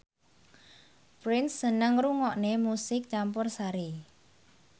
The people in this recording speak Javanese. Prince seneng ngrungokne musik campursari